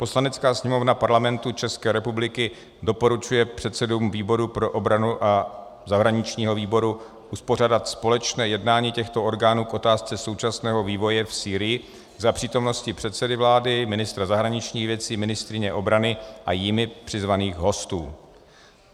"Poslanecká sněmovna Parlamentu České republiky doporučuje předsedům výboru pro obranu a zahraničního výboru uspořádat společné jednání těchto orgánů k otázce současného vývoje v Sýrii za přítomnosti předsedy vlády, ministra zahraničních věcí, ministryně obrany a jimi přizvaných hostů."